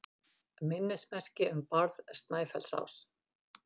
Minnismerki um Bárð Snæfellsás.